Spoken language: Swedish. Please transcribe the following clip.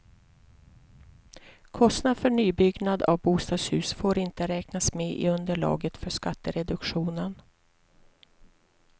Kostnader för nybyggnad av bostadshus får inte räknas med i underlaget för skattereduktionen.